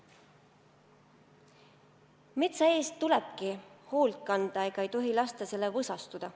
Metsa eest tulebki hoolt kanda, ei tohi lasta sellel võsastuda.